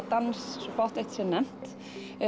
dans svo fátt eitt sé nefnt